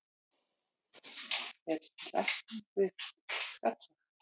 er til lækning við skalla